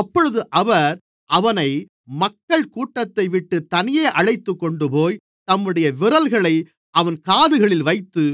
அப்பொழுது அவர் அவனை மக்கள் கூட்டத்தைவிட்டுத் தனியே அழைத்துக்கொண்டுபோய் தம்முடைய விரல்களை அவன் காதுகளில் வைத்து